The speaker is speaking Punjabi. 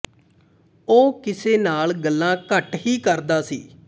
ਉਹ ਕਿਸੇ ਨਾਲ ਗੱਲਾਂ ਘੱਟ ਹੀ ਕਰਦਾ ਸੀ